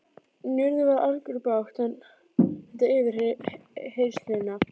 Njörður varð argur og batt enda á yfirheyrsluna.